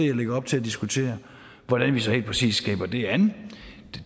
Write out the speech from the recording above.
jeg lægger op til at diskutere hvordan vi så helt præcis griber det an